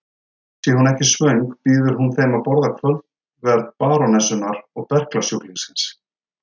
Sé hún ekki svöng býður hún þeim að borða kvöldverð barónessunnar og berklasjúklingsins.